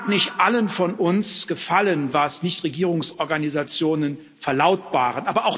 Nun mag nicht allen von uns gefallen, was Nichtregierungsorganisationen verlautbaren.